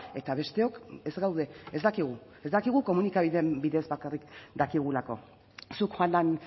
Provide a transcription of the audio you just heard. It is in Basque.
eta besteok ez gaude ez dakigu ez dakigu komunikabideen bidez bakarrik dakigulako zuk joan den